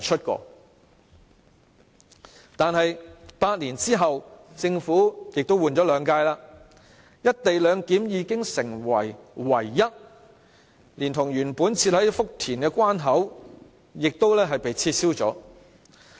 可是 ，8 年後，換了兩屆政府，"一地兩檢"已成為唯一的做法，連原本設在福田的關口也被取消了。